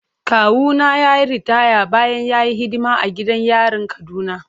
Kawuna ya yi ritaya bayan ya yi hidima a gidan yarin Kaduna.